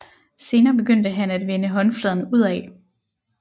Senere begyndte han at vende håndfladen udad